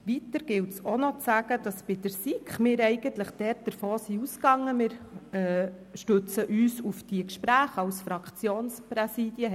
Weiter gilt es auch zu sagen, dass wir bei der SiK eigentlich davon ausgegangen sind, dass wir uns auf die Gespräche stützen können.